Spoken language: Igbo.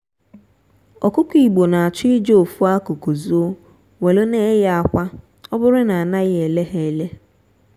ọkụkọ igbo na achọ ije ofu akụkụ zoo welu na-eye akwa oburu na anaghị ele ha ele.